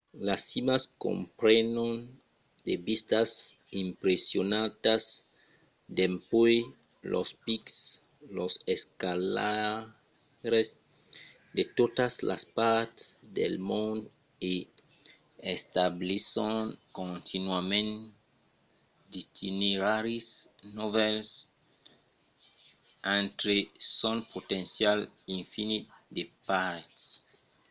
las cimas comprenon de vistas impressionantas dempuèi los pics. los escalaires de totas las parts del mond i establisson continuament d'itineraris novèls entre son potencial infinit de parets